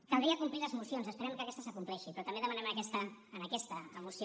caldria complir les mocions esperem que aquesta s’acompleixi però també demanem en aquesta moció